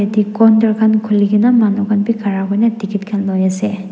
ek counter khan khuli ke na manu khan be khara kuri na ticket khan loi ase.